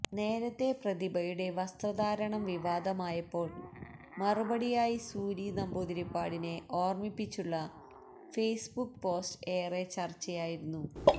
നേരത്തെ പ്രതിഭയുടെ വസ്ത്രധാരണം വിവാദമായപ്പോള് മറുപടിയായി സൂരി നമ്പൂതിരിപ്പാടിനെ ഓര്മിപ്പിച്ചുള്ള ഫേസ്ബുക്ക് പോസ്റ്റ് ഏറെ ചര്ച്ചയായിരുന്നു